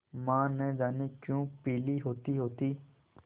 माँ न जाने क्यों पीली होतीहोती